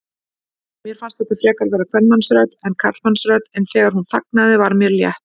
Mér fannst þetta frekar vera kvenmannsrödd en karlmannsrödd, en þegar hún þagnaði var mér létt.